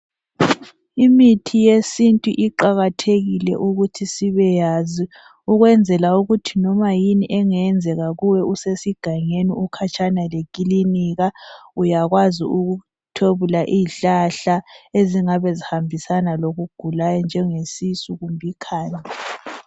Imithi yesintu iqakathekile ukuthi sibe yazi ukwenzela ukuthi noma yini engenzeka kuwe usesigangeni ukhatshana lekilinika uyakwazi ukuthwebula izihlahla ezingabe zihambisana lokugulayo njenge sisu kumbe ikhanda.